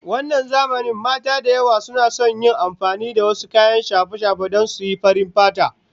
Wannan zamanin mata da yawa suna son yin amfani da wasu kayan shafe-shafe don suyi farin fata